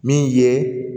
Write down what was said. Min ye